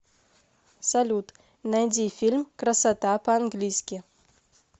салют найди фильм красота по английски